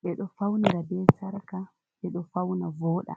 ɓe ɗoo faunira be sarka, ɓe e ɗoo fauna vooɗa.